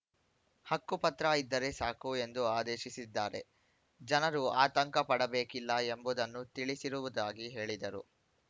ಹಕ್ಕುಪತ್ರ ಇದ್ದರೆ ಸಾಕು ಎಂದು ಆದೇಶಿಸಿದ್ದಾರೆ ಜನರು ಆತಂಕಪಡಬೇಕಿಲ್ಲ ಎಂಬುದನ್ನು ತಿಳಿಸಿರುವುದಾಗಿ ಹೇಳಿದರು